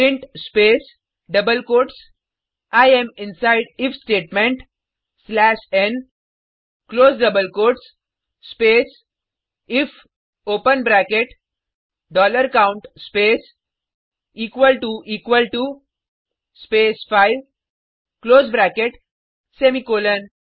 print space double quotes I am inside if statement slash n close double quotes space if open bracket dollar count space equal to equal to space 5 close bracket semicolon